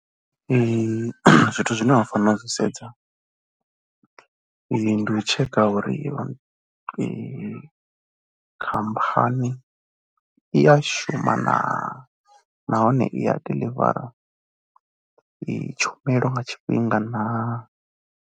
Zwithu zwine wa fanela u zwi sedza ndi u tsheka uri iyo khamphani i ya shuma naa nahone i a diḽivara tshumelo nga tshifhinga naa.